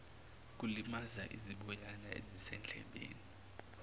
kulimaza iziboyana ezisendlebeni